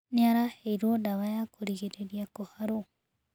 Nĩ araheirwo ndawa ya kũrigĩrĩria kũharwo.